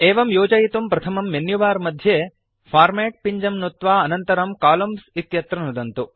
एवं योजयितुं प्रथमं मेन्युबार मध्ये फॉर्मेट् पिञ्जं नुत्वा अनन्तरं कोलम्न्स् इत्यत्र नुदन्तु